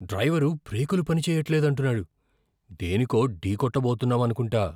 Driver బ్రేకులు పని చెయ్యట్లేదంటున్నాడు. దేనికో ఢీకొట్ట బోతున్నాం అనుకుంటా.